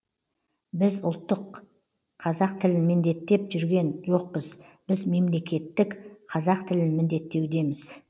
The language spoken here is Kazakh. біз ұлттық қазақ тілін міндеттеп жүрген жоқпыз біз мемлекеттік қазақ тілін міндеттеудеміз